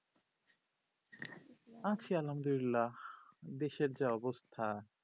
আছি আলহামদুল্লিলা দেশের যা অবস্থা